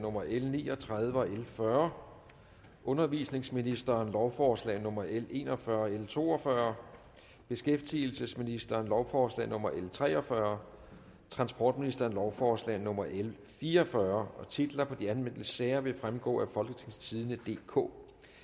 nummer l ni og tredive og lovforslag l fyrre undervisningsministeren lovforslag nummer l en og fyrre og l to og fyrre beskæftigelsesministeren lovforslag nummer l tre og fyrre transportministeren lovforslag nummer l fire og fyrre titler på de anmeldte sager vil fremgå af folketingstidende DK